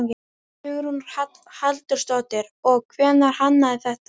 Hugrún Halldórsdóttir: Og hver hannaði þetta?